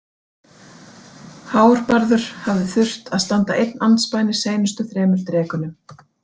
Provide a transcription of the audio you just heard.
Hárbarður hafði þurft að standa einn andspænis seinustu þremur drekunum.